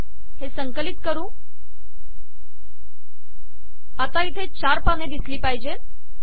हे संकलित करू आता इथे चार पाने दिसली पाहिजेत